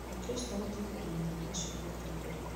Akristo matũmagĩra maathani macio kũmatongoria